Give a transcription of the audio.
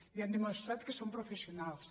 i han demostrat que són professionals